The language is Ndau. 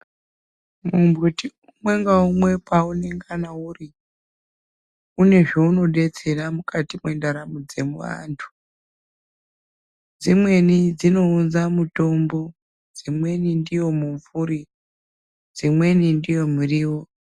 Mumbuti umwe ngaumwe paunongana uri une zvaunodetsera mukati mwendaramo dzevantu dzimweni dzinounza mutombo dźimweni ndiyo mumvuri dźimweni ndiyo muriwo.